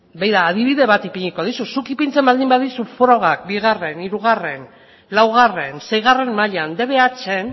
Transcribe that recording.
begira adibide bat ipiniko dizut zuk ipintzen baldin badizut frogak bi hiru laugarrena eta seigarrena mailan dbh